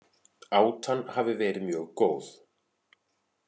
Átan hafi verið mjög góð